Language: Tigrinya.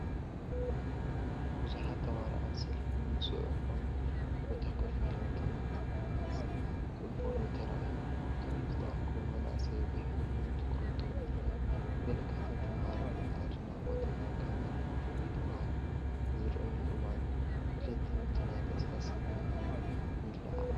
ብዙሓት ተማሃሮ ኣብ ሰፊሕን ጽዑቕን ቦታ ኮፍ ኢሎም ትምህርቲ ክቕበሉ ተራእዮም። እቶም ዝተኣከቡ መናእሰይ ብሕብሩን ትኹረቶምን ይርአ። ገለ ካብቶም ተማሃሮ ብኣድናቖት ናብ ካሜራ ክጥምቱ ኣብ ዝረኣዩሉ እዋን፡ ድሌት ትምህርትን ናይ ተስፋ ስምዒትን ይለዓዓል።